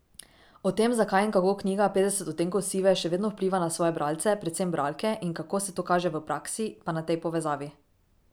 O tem, zakaj in kako knjiga Petdeset odtenkov sive še vedno vpliva na svoje bralce, predvsem bralke, in kako se to kaže v praksi, pa na tej povezavi.